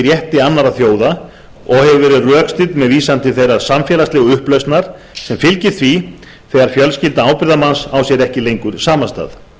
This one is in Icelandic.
rétti annarra þjóða og hefur verið rökstudd með vísan til þeirrar samfélagslegu upplausnar sem fylgir því þegar fjölskylda ábyrgðarmanns á sér ekki lengur samastað